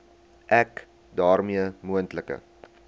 ek daarmee moontlike